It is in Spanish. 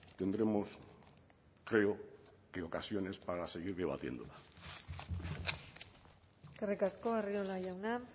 tendremos creo que ocasiones para seguir debatiendo eskerrik asko arriola jauna